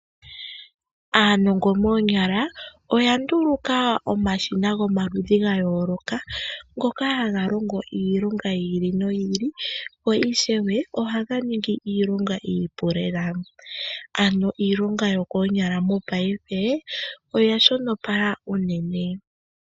Aanongo moonyala oya nduluka omashina gomaludhi gayooloka ngoka haga longo iilonga yi ili noyi ili yo ishewe ohaga ningi iilonga iipu lela. Ano iilonga yokoonyala mopaife oya shonopala uunene.